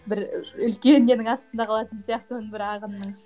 бір і үлкен ненің астында қалатын сияқтымын бір ағынның